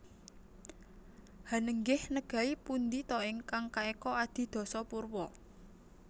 Hanenggih negai pundi ta ingkang kaeka adi dasa purwa